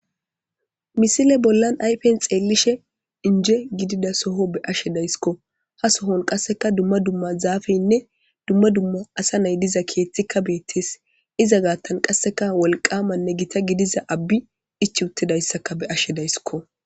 Misile bollan aypen xeellishe inje gidida soho be ashe daysikko ha sohon qasseka dumma dumma zaafeynne dumma dumma asa nay diza keethtikka beettes iza gaattan qasseka wolqamanne gita gidiza abbi ich uttidayssaka be ashe dayssikko.